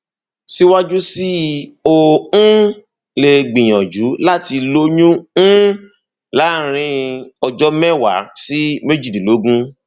síwájú sí i o um lè gbìyànjú láti lóyún um láàárín ọjọ mẹwàá sí méjìdínlógún